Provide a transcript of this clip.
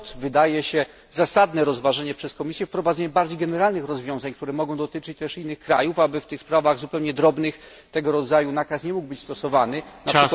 Stąd wydaje się zasadne rozważenie przed Komisję wprowadzenia bardziej generalnych rozwiązań, które mogą dotyczyć też innych krajów, aby w zupełnie drobnych sprawach tego rodzaju nakaz nie mógł być stosowany np.